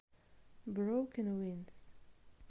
брокен вингс